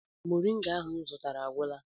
Moringa ahụ m zụtara agwụla?